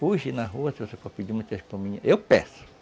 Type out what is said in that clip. Hoje, na rua, se você for pedir uma para mim, eu peço.